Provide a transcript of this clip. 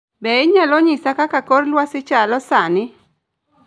Be inyalo nyisa kaka kor lwasi chalo sani?